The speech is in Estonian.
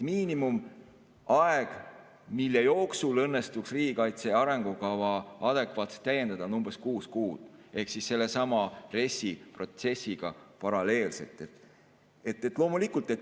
Miinimumaeg, mille jooksul õnnestuks riigikaitse arengukava adekvaatselt täiendada, on umbes kuus kuud, ehk siis sellesama RES‑i protsessiga paralleelselt.